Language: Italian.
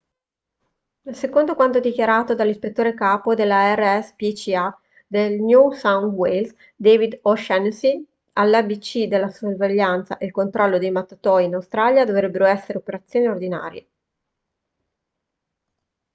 secondo quanto dichiarato dall'ispettore capo della rspca del new south wales david o'shannessy all'abc la sorveglianza e il controllo dei mattatoi in australia dovrebbero essere operazioni ordinarie